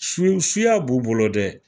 Su, suya b'u bolo dɛ.